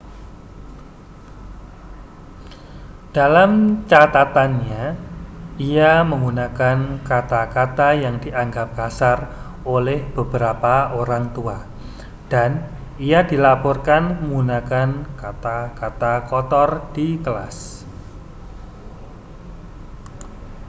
dalam catatannya ia menggunakan kata-kata yang dianggap kasar oleh beberapa orang tua dan ia dilaporkan menggunakan kata-kata kotor di kelas